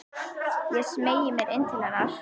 Ég smeygi mér inn til hennar.